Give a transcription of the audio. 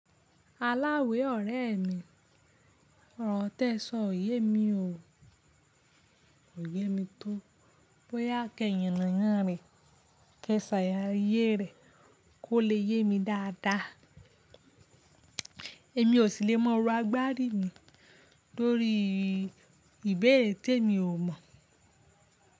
Aláwé ọ̀rẹ́ mi, ọ̀rọ̀ tíẹ ṣọ òye mi óò. Kòyé mi tó bóyá kí ẹ yàn nàná rẹ ké sàlàyé rẹ kó lè yé mi dáadáa. Èmi ò sì lè mọrò agbárí mi lórí ìbéèrè tí èmi ò mọ̀